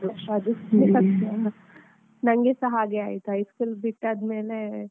ಅದೆ. ನಂಗೆಸ ಹಾಗೆ ಆಯ್ತು, high school ಬಿಟ್ಟಾದ್ಮೇಲೆ.